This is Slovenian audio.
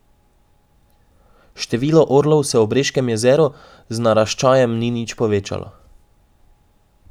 Število orlov se ob Reškem jezeru z naraščajem ni nič povečalo.